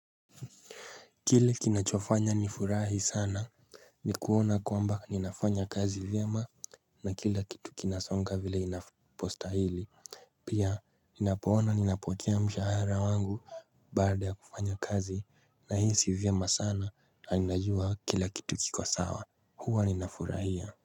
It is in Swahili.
Kile kinachofanya nifurahi sana Nikuona kwamba ninafanya kazi vyema na kila kitu kinasonga vile inapostahili Pia ninapoona ninapokea mshahara wangu Baada ya kufanya kazi nahisi vyema sana na ninajua kila kitu kiko sawa huwa ninafurahia.